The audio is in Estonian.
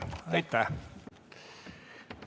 Aitäh!